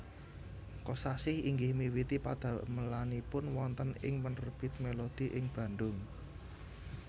Kosasih inggih miwiti padamelanipun wonten ing penerbit Melodi ing Bandung